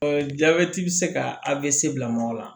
jabɛti bɛ se ka bila mɔgɔ la